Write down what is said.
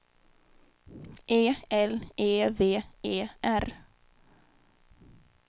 E L E V E R